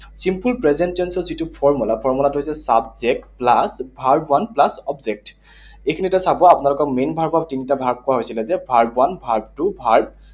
Simple present tense ৰ যিটো formula, formula টো হৈছে subject plus verb one plus object । এইখিনিতে চাব, আপোনালোকৰ main verb ৰ তিনিটা ভাগ কৰা হৈছিলে, যে verb one, verb two, verb